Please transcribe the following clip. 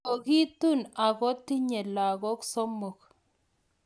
Kogitun ako tinye lagok somok